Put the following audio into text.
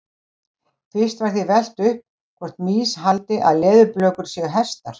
Fyrst var því velt upp hvort mýs haldi að leðurblökur séu hestar.